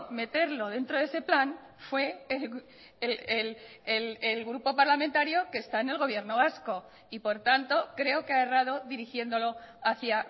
meterlo dentro de ese plan fue el grupo parlamentario que está en el gobierno vasco y por tanto creo que ha errado dirigiéndolo hacia